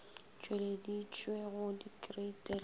tšweleditšwe go dikreiti le go